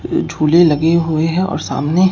झूले लगे हुए हैं और सामने--